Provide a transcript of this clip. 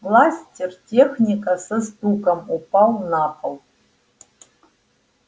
бластер техника со стуком упал на пол